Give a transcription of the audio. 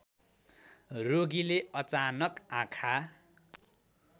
रोगीले अचानक आँखा